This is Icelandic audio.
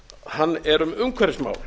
hann er um umhverfismál